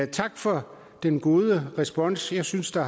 tak for den gode respons jeg synes der